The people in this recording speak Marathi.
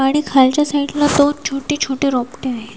आणि खालच्या साईडला दोन छोटी छोटी रोपटी आहे.